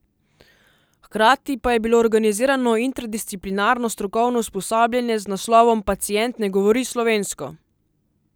Hkrati pa je bilo organizirano interdisciplinarno strokovno usposabljanje z naslovom Pacient ne govori slovensko!